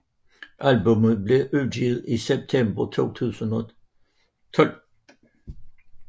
Albummet blev udgivet i september 2012